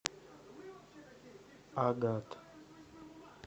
агат